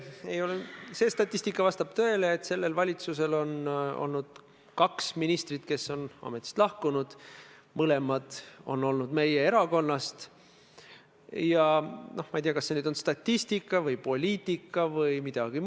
Näiteks seesama Mary Krossi juhtum, mis ühelt poolt lõpetatakse oportuniteediga, kuid teiselt poolt läheb proua Kross taas meediasse ja ütleb, et ei, tegelikult teda ikka rünnati, tegelikult teda, ma ei tea, pilluti kividega jne.